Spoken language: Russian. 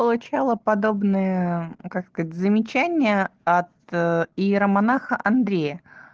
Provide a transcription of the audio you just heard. получала подобные как это сказать замечания от иеромонаха андрея